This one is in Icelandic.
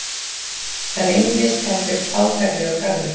Það reynist heldur fátæklegur garður.